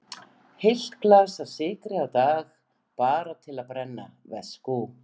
Heilt glas af sykri á dag, bara til að brenna, veskú.